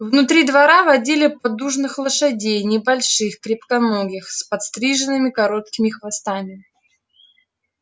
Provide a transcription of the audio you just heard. внутри двора водили поддужных лошадей небольших крепконогих с подстриженными короткими хвостами